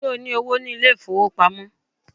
Ṣé o ní owó ní ilé ìfowópamọ́?